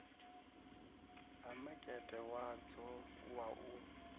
ha makete wadzo wa u